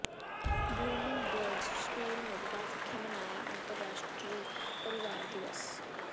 blooming Buds School Moga ਵਿਖੇ ਮਨਾਇਆ ਅੰਤਰਰਾਸ਼ਟਰੀ ਪਰਿਵਾਰ ਦਿਵਸ